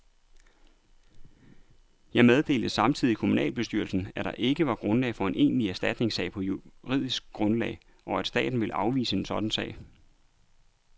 Jeg meddelte samtidigt kommunalbestyrelsen, at der ikke var grundlag for en egentlig erstatningssag på juridisk grundlag, og at staten ville afvise en sådan sag.